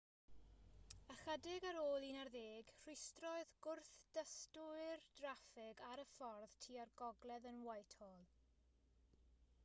ychydig ar ôl 11:00 rhwystrodd gwrthdystwyr draffig ar y ffordd tua'r gogledd yn whitehall